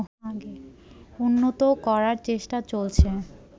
উন্নত করার চেষ্টা চলছে